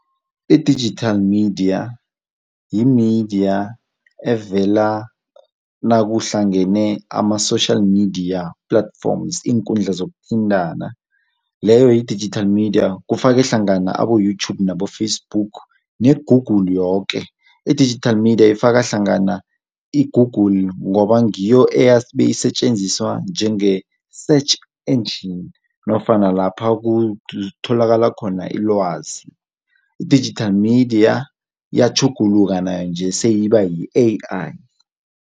I-digital media yi-media evela nakuhlangene ama-social media platforms, iinkundla zokuthintana, leyo yi-digital media, kufake hlangana abo-YouTube, nabo-Facebook ne-google yoke. I-digital media ifaka hlangana i-google ngoba ngiyo esetjenziswa njenge-search engine nofana lapha kutholakala khona ilwazi. I-digital media iyatjhuguluka nayo nje seyiba yi-AI.